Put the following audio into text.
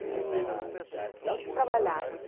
E todos trabalhavam.